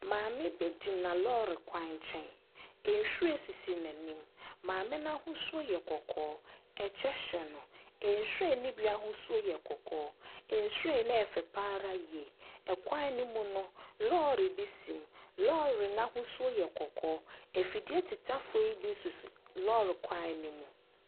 Maame bi gyina lɔɔre kwan nkyɛn. Nhyiren wɔ n’anim, maame n’ahosuo yɛ kɔkɔɔ, kyɛ hyɛ no, nhyiren ne bi ahosuo yɛ kɔkɔɔ, nhyiren ne yɛ fɛ pa ara yie. Kwan ne mu no, lɔɔre bi si, lɔɔre n’ahosuo yɛ kɔkɔɔ. Afidie tetafoɔ yi bi nso sisi lɔɔre kwan ne mu.